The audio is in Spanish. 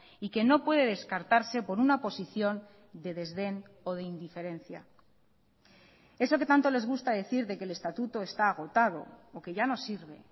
y que no puede descartarse por una posición de desdén o de indiferencia eso que tanto les gusta decir de que el estatuto está agotado o que ya no sirve